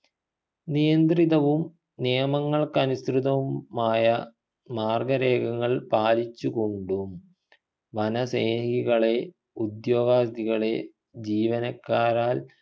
നിയന്ത്രിതവും നിയമങ്ങൾക്കനുസൃതവു മായ മാർഗരേഖകൾ പാലിച്ചുകൊണ്ടും വന സ്നേഹികളെ ഉദ്യോഗാർത്ഥികളെ ജീവനക്കാരാൽ